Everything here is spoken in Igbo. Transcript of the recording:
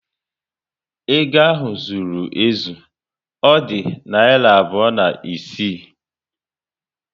Ego ahụ zụrụ ezu, Ọ dị narị abụọ na isii